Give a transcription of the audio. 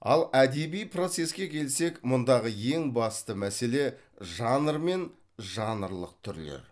ал әдеби процеске келсек мұндағы ең басты мәселе жанр мен жанрлық түрлер